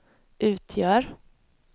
utgör